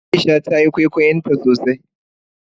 Aisha tayi kwaikwayon tasosai.